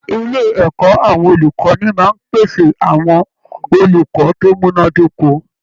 Ilé ẹ̀kọ́ àwọn olùkọ́ni máa ń pèsè àwọn olùkọ́ tó múná dóko